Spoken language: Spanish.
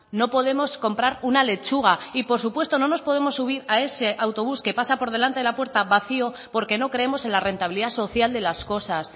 no podemos comprar una lechuga y por supuesto no nos podemos subir a ese autobús que pasa por delante de la puerta vacío porque no creemos en la rentabilidad social de las cosas